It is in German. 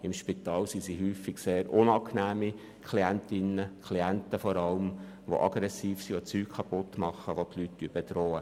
In Spitälern sind diese Personen häufig sehr unangenehme Klienten und Klientinnen, da sie aggressiv sind, Dinge beschädigen oder andere Leute bedrohen.